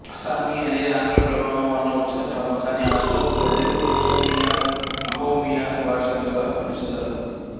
అస్సామీ అనెది ఆంగ్ల ప్రభావం వలన వచ్చిన పదం కానీ అసొం ప్రజలు అసోమియా అహోమియా భాషగ పిలుస్తారు